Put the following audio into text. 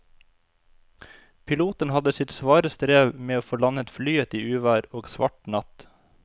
Piloten hadde sitt svare strev med å få landet flyet i uvær og svart natt.